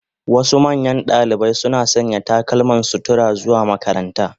Wasu manyan dalibai suna sanya takalman sutura zuwa makaranta.